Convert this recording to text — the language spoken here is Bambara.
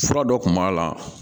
Fura dɔ kun b'a la